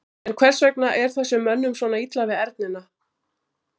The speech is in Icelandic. En hvers vegna er þessum mönnum svona illa við ernina?